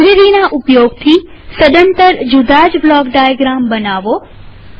લાઈબ્રેરીના ઉપયોગથીસદંતર જુદાજ block diagram બનાવો